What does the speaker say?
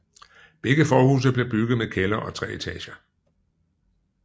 Begge forhuse blev bygget med kælder og tre etager